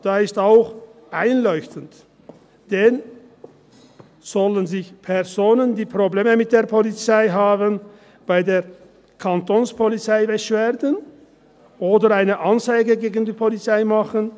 Dies ist auch einleuchtend, denn: Sollen sich Personen, die Probleme mit der Polizei haben, bei der Kantonspolizei beschweren oder eine Anzeige gegen die Polizei machen?